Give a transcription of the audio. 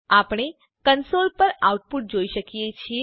આપણે કંસોલ પર આઉટપુટ જોઈએ છીએ